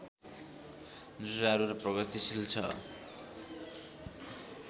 जुझारु र प्रगतिशील छ